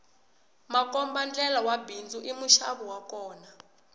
makombandlela wa bindzu i muxavi wa kona